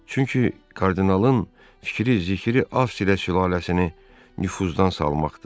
Çünki kardinalın fikri, zikri Avstriya sülaləsini nüfuzdan salmaqdır.